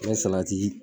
N ye salati